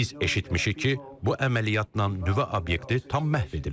Biz eşitmişik ki, bu əməliyyatla nüvə obyekti tam məhv edilib.